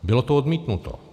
Bylo to odmítnuto.